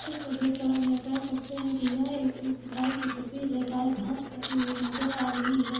Picture को हम देख के कह सकते है की यह एक गाय की तस्वीर है गाय घास खाती हुई नजर आ रही है।